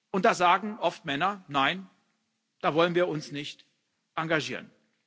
Und da sagen Männer oft Nein, da wollen wir uns nicht engagieren.